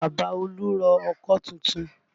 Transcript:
Bàbá olú rọ ọkọ́ tuntun